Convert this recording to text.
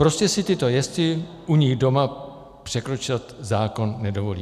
Prostě si tito jezdci u nich doma překročit zákon nedovolí.